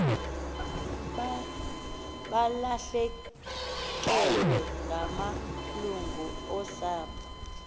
balahlekelwe ngamalungu osapho